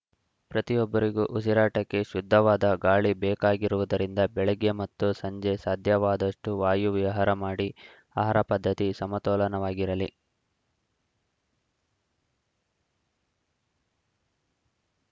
ಪ್ರತಿಯೊಬ್ಬರಿಗೂ ಉಸಿರಾಟಕ್ಕೆ ಶುದ್ಧವಾದ ಗಾಳಿ ಬೇಕಾಗಿರುವುದರಿಂದ ಬೆಳಗ್ಗೆ ಮತ್ತು ಸಂಜೆ ಸಾಧ್ಯವಾದಷ್ಟುವಾಯು ವಿವಹಾರ ಮಾಡಿ ಆಹಾರ ಪದ್ಧತಿ ಸಮತೋಲನವಾಗಿರಲಿ